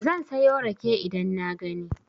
Zan sayo rake idan na gani.